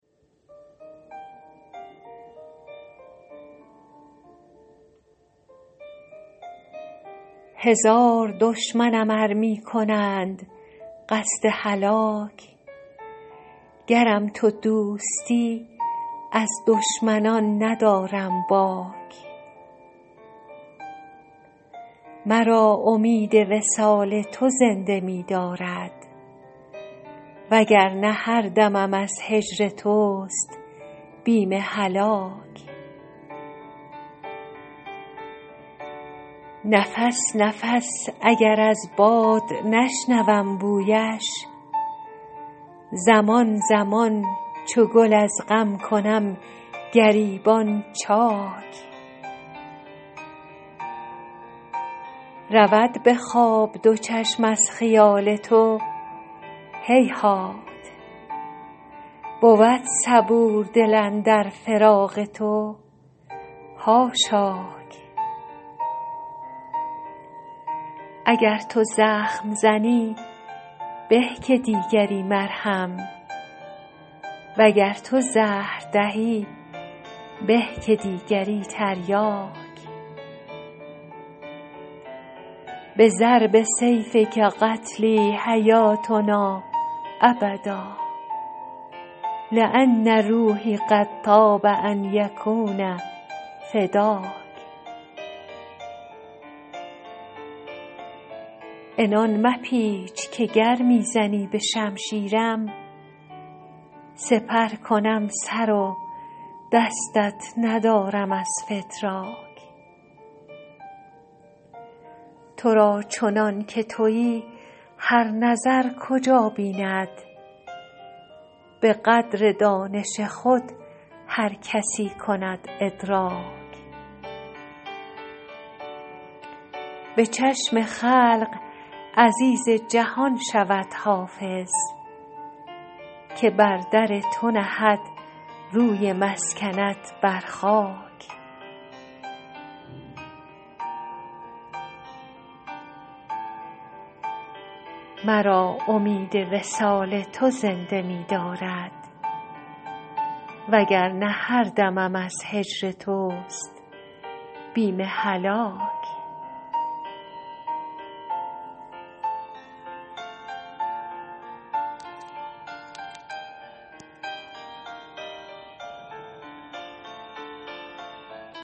هزار دشمنم ار می کنند قصد هلاک گرم تو دوستی از دشمنان ندارم باک مرا امید وصال تو زنده می دارد و گر نه هر دمم از هجر توست بیم هلاک نفس نفس اگر از باد نشنوم بویش زمان زمان چو گل از غم کنم گریبان چاک رود به خواب دو چشم از خیال تو هیهات بود صبور دل اندر فراق تو حاشاک اگر تو زخم زنی به که دیگری مرهم و گر تو زهر دهی به که دیگری تریاک بضرب سیفک قتلی حیاتنا ابدا لأن روحی قد طاب ان یکون فداک عنان مپیچ که گر می زنی به شمشیرم سپر کنم سر و دستت ندارم از فتراک تو را چنان که تویی هر نظر کجا بیند به قدر دانش خود هر کسی کند ادراک به چشم خلق عزیز جهان شود حافظ که بر در تو نهد روی مسکنت بر خاک